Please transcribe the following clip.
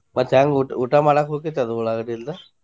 ಮತ್ತ ಹೆಂಗ ಊಟ ಊಟ ಮಾಡಾಕ ಹೊಕ್ಕೆತಿ ಅದ ಉಳ್ಳಾಗಡ್ಡಿ ಇಲ್ದ?